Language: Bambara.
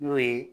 N'o ye